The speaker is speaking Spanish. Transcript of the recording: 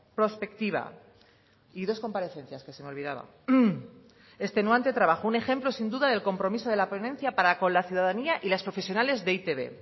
prospectiva y dos comparecencias que se me olvidaba extenuante trabajo un ejemplo sin duda del compromiso de la ponencia para con la ciudadanía y las profesionales de e i te be